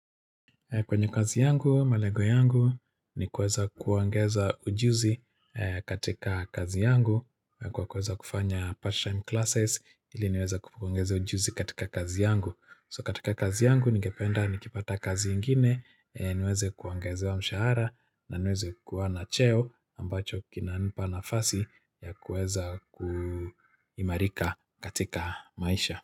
Kwenye kazi yangu, malengo yangu, ni kuweza kuongeza ujuzi katika kazi yangu. Kwa kuweza kufanya part-time classes, ili niweze kuongeza ujuzi katika kazi yangu. So katika kazi yangu, nigependa ni kipata kazi ingine, niweze kuongezewa mshahara, na niweze kuwa na cheo ambacho kinanipa nafasi ya kuweza kuimarika katika maisha.